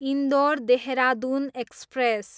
Indore, Dehradun express